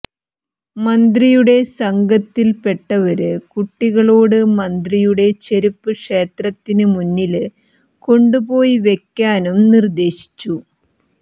മന്ത്രിയുടെ സംഘത്തില്പ്പെട്ടവര് കുട്ടികളോട് മന്ത്രിയുടെ ചെരുപ്പ് ക്ഷേത്രത്തിന് മുന്നില് കൊണ്ടുപോയി വെക്കാനും നിര്ദേശിച്ചു